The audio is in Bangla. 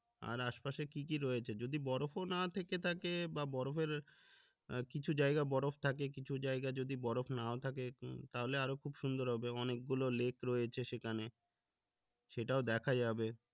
আর আশপাশে কি কি রয়েছে যসি বরফও না থেকে থাকে বা বরফের আহ কিছু জায়গা বরফ থাকে কিছু জায়গা যদি বরফ নাও থাকে তাহলে আরো খুব সুন্দর হবে অনেক গুলো লেক রয়েছে সেখানে সেটাও দেখা যাবে